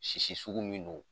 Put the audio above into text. Sisi sugu min don